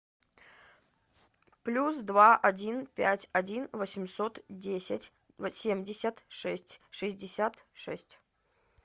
плюс два один пять один восемьсот десять семьдесят шесть шестьдесят шесть